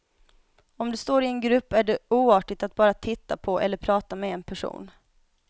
Om du står i en grupp är det oartigt att bara titta på eller prata med en person.